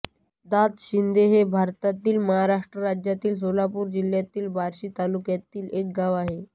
दादशिंगे हे भारतातील महाराष्ट्र राज्यातील सोलापूर जिल्ह्यातील बार्शी तालुक्यातील एक गाव आहे